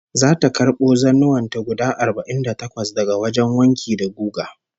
Zata karbo zannuwan ta guda arba'in da takwas daga wajen wanki da guga